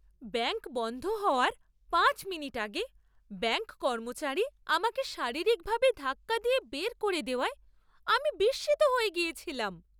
Bank বন্ধ হওয়ার পাঁচ মিনিট আগে ব্যাঙ্ক কর্মচারী আমাকে শারীরিকভাবে ধাক্কা দিয়ে বের করে দেওয়ায় আমি বিস্মিত হয়ে গিয়েছিলাম।